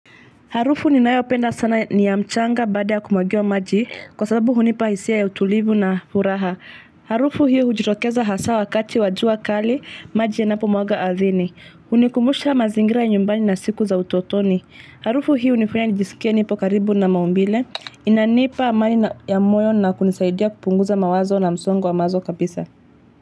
Harufu ninayopenda sana ni ya mchanga baada ya kumwagiwa maji kwa sababu hunipa hisia ya utulivu na furaha. Harufu hiyo hujitokeza haswa wakati wajua kali maji yanapomwaga ardhini. Hunikumbusha mazingira nyumbani na siku za utotoni. Harufu hiyo hunifanya nijisikie nipo karibu na maumbile. Inanipa amani ya moyo na kunisaidia kupunguza mawazo na msongo wa mawazo kabisa.